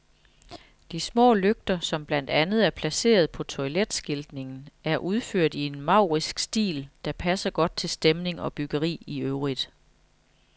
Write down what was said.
De små lygter, som blandt andet er placeret på toiletskiltningen, er udført i en maurisk stil, der passer godt til stemning og byggeri i øvrigt.